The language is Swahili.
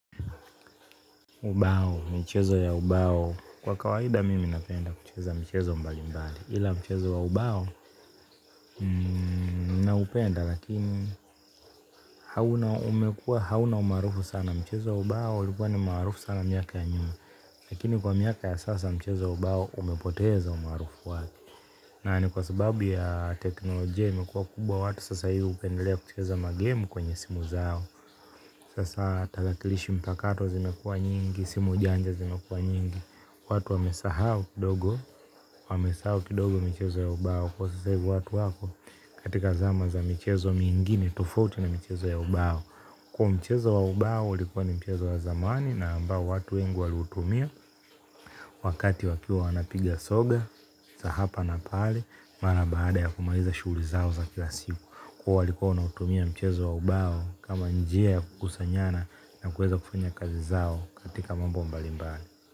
Ubao, mchezo ya ubao kwa kawaida mimi napenda kucheza mchezo mbalimbali ila mchezo wa ubao naupenda lakini hauna umekuwa hauna umaarufu sana mchezo wa ubao ulikuwa ni maarufu sana miaka ya nyuma lakini kwa miaka ya sasa mchezo wa ubao umepoteza umaarufu wake. Nani kwa sababu ya teknolojia imekuwa kubwa watu sasa hivi hupendelea kucheza magemu kwenye simu zao sasa tarakilishi mpakato zimekuwa nyingi, simu janja zimekuwa nyingi, watu wamesahau kidogo, wamesahau kidogo mchezo ya ubao, kwa sasa hivi watu wako katika zama za mchezo mingine tofauti na mchezo ya ubao. Kwa hivyo mchezo wa ubao ulikuwa ni mchezo wa zamani na ambao watu wengi walitumia wakati wakiwa wanapiga soga za hapa na pale baada ya kumaliza shughuli zao za kila siku kwa hivyo walikuwa wanautumia mchezo wa ubao kama njia ya kukusanyana na kuweza kufanya kazi zao katika mambo mbalimbali.